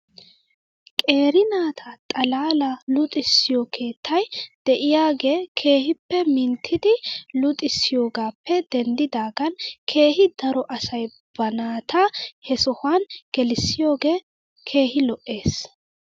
Qeeri naata xalaalaa luxissiyoo keettay de'iyaagee keehippe minttidi luxissiyoogaappe denddidaagan keehi daro asay ba naata he sohuwan geleissiyoogee keehi lo'es.